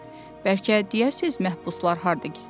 Bəlkə deyəsiz məhbuslar harda gizləniblər?